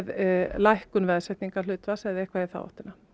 lækkun veðsetningarhlutfalls eða eitthvað í þá áttina